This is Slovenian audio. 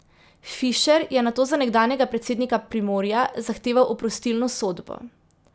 Fišer je zato za nekdanjega predsednika Primorja zahteval oprostilno sodbo.